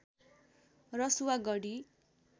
Rasuwa Garhi